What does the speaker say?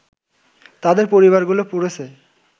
তাদের পরিবারগুলো পড়েছে